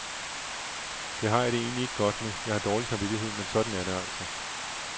Det har jeg det egentligt ikke godt med, jeg har dårlig samvittighed, men sådan er det altså.